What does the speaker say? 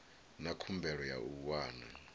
na khumbelo ya u wana